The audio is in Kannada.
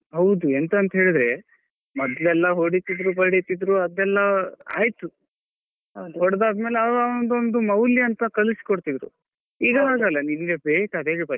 ಹೌದು ಎಂಥಂತೇಲಿದ್ರೆ ಮೊದ್ಲೆಲ್ಲಾ ಹೊಡಿತಿದ್ರು ಬಡಿತಿದ್ರು ಅದೆಲ್ಲ ಆಯ್ತು ಹೊಡ್ದದ್ಮೇಲೆ ಮೌಲ್ಯನ್ತ ಕಳ್ಸಿಕೊಡ್ತಿದ್ರು ಈಗ ಹಾಗಲ್ಲ .